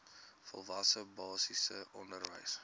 volwasse basiese onderwys